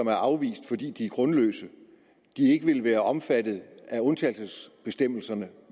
er afvist fordi de er grundløse ikke ville være omfattet af undtagelsesbestemmelserne